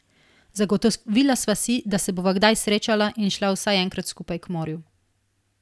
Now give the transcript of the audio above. Zagotovila sva si, da se bova kdaj srečala in šla vsaj enkrat skupaj k morju.